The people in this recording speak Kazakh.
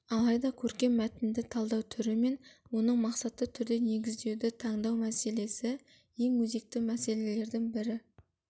алайда көркем мәтінді талдау түрі мен оның мақсатты түрде негіздеуді таңдау мәселесі ең өзекті мәселелердің бірі